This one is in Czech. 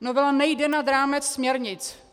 Novela nejde nad rámec směrnic.